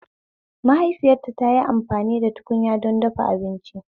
Mahaifita tayi amfani da tukunya don ta dafa abinci